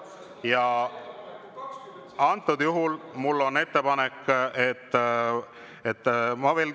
Ja antud juhul mul on ettepanek, et …